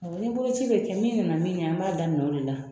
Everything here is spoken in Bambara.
O ni boloci bɛ kɛ min nana min ɲɛ an b'a daminɛ o de la